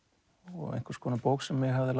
og einhvers konar bók sem mig hafði